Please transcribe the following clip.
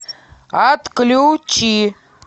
отключи